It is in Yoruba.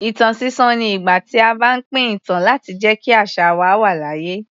Ìtàn sísọ ni ìgbà tí a bá pín ìtàn láti jẹ́ kí àṣà wa wà láàyè.